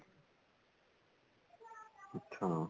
ਅੱਛਾ